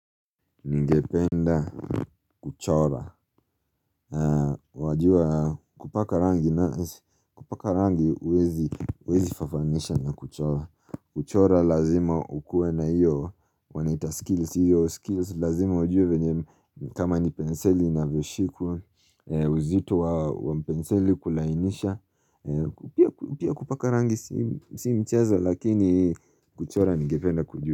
Ningependa kuchora Wajua kupaka rangi na kupaka rangi uwezi uwezi fafanisha na kuchora kuchora lazima ukue na iyo wanaita skills Iyo skills lazima ujue venye kama nipenseli inavyoshikwa uzitu wa penseli kulainisha Pia kupaka rangi si mcheza lakini kuchora ningependa kujua.